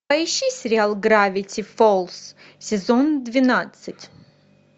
поищи сериал гравити фолз сезон двенадцать